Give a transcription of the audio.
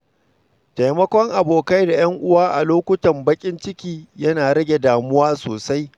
Taimakon abokai da ‘yan uwa a lokutan baƙin ciki yana rage damuwa sosai.